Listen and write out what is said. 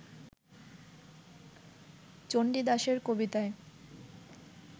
চণ্ডীদাসের কবিতায়